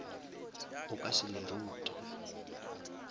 o ka se le rute